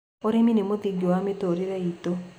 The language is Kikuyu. Ũrĩmĩ nĩ mũthĩngĩ wa mĩtũrĩre ĩtũ